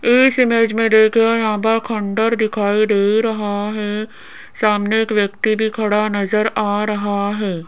इस इमेज में देखिए यहां पर खंडहर दिखाई दे रहा है सामने एक व्यक्ति भी खड़ा नजर आ रहा है।